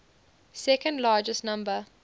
second largest number